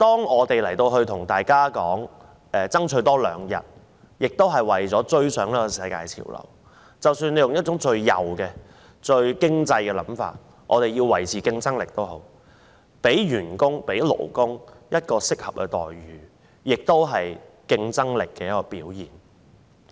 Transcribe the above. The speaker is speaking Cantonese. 我們要多爭取兩日侍產假，也是為了追上世界潮流，即使我們採用最右及最經濟掛帥的思維或以維持競爭力為由，讓員工及勞工享有適合待遇，也是競爭力的表現。